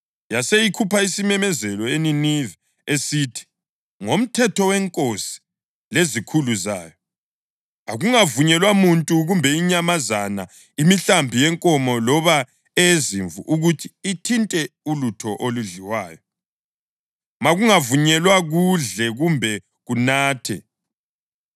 Yase ikhupha isimemezelo eNiniva esithi: “Ngomthetho wenkosi lezikhulu zayo: Akungavunyelwa muntu kumbe inyamazana, imihlambi yenkomo loba eyezimvu ukuthi ithinte ulutho oludliwayo; makungavunyelwa kudle kumbe kunathe.